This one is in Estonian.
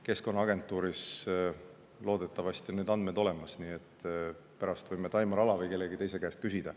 Keskkonnaagentuuris on loodetavasti need andmed olemas, pärast võime Taimar Ala või kellegi teise käest küsida.